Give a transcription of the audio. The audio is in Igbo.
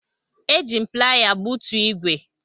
Eji m piala gbutu ígwè.